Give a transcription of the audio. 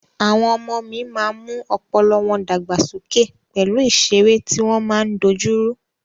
Àwọn ọmọ mí máa mú ọpọlọ wọ́n dàgbàsókè pẹ̀lú ìsẹré tí wọ́n máa ń dojúrú.